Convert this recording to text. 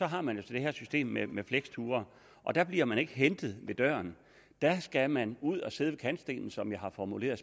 har man jo så det her system med med fleksture og der bliver man ikke hentet ved døren der skal man ud at sidde ved kantstenen som jeg har formuleret